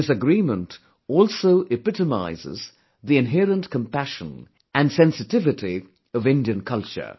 This agreement also epitomises the inherent compassion and sensitivity of Indian culture